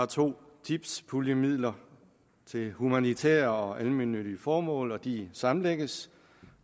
to tipspuljer til humanitære og almennyttige formål og de sammenlægges